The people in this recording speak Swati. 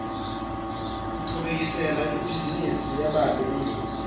ngichubekisela ibhizinisi yababe embili